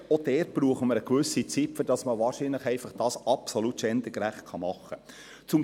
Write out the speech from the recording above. Auch dort brauchen wir eine gewisse Zeit, damit dies absolut gendergerecht gemacht werden kann.